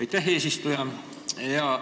Aitäh, eesistuja!